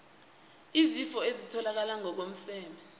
izifo ezitholakala ngokomseme